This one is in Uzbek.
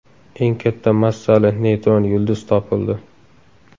Eng katta massali neytron yulduz topildi.